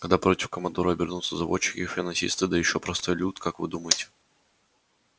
когда против командора обернутся заводчики финансисты да ещё простой люд как вы думаете